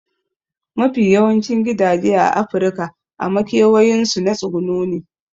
Mafi yawancin gidaje a afirika a makewayin su na tsuguno ne